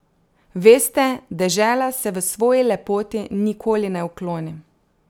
Veste, dežela se v svoji lepoti nikoli ne ukloni.